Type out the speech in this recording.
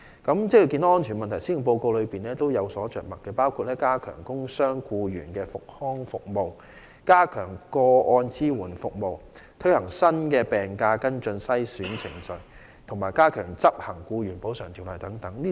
對於職安健的問題，施政報告也有着墨，包括加強工傷僱員的復康服務、加強個案支援服務、推行新的病假跟進及篩選程序，以及加強執行《僱員補償條例》等。